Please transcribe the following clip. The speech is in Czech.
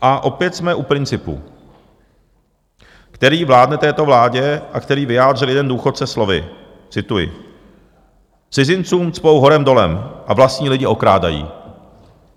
A opět jsme u principu, který vládne této vládě a který vyjádřil jeden důchodce slovy - cituji: "Cizincům cpou horem dolem a vlastní lidi okrádají."